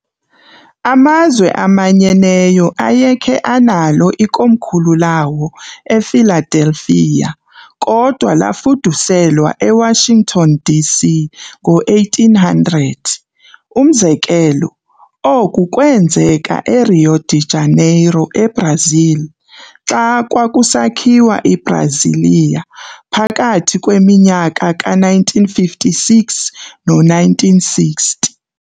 AmaZwe aManyeneyo ayekhe analo ikomkhulu lawo ePhiladelphia, kodwa lafuduselwa eWashington, D.C. ngo1800. Umzekelo, oku kweenzeka eRio de Janeiro eBrazil, xa kwakusakhiwa iBrasilia phakathi kweminyaka ka-1956 no-1960.